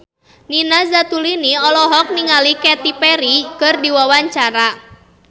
Nina Zatulini olohok ningali Katy Perry keur diwawancara